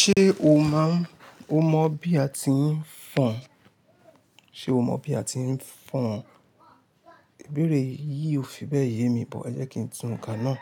Ṣé o máa ń, o mọ bí a ti ń fọn? Ṣé o mọ bí a ti ń fọn? Ìbéèrè yí ò fi bẹ́ẹ̀ yé mi but, ẹ jẹ́ kí n tú n kà náà.